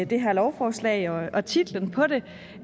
det her lovforslag og og titlen på det